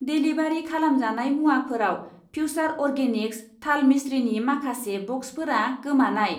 Delivery खालामजानाय मुवाफोराव फ्युसार अर्गेनिक्स थाल मिस्रिनि माखासे ब'क्सफोरा गोमानाय।